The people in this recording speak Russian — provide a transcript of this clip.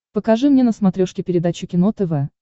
покажи мне на смотрешке передачу кино тв